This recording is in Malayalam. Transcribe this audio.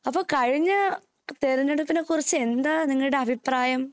അപ്പോ കഴിഞ്ഞ തിരഞ്ഞെടുപ്പിന്നെകുറിച്ച് എന്താ നിങ്ങടെ അഭിപ്രായം